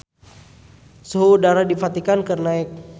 Suhu udara di Vatikan keur naek